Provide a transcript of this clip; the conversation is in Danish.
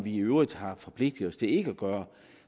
i øvrigt har forpligtet os til ikke at gøre